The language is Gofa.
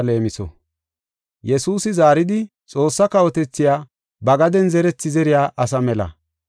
Yesuusi zaaridi, “Xoossaa kawotethay ba gaden zerethi zeriya asa mela.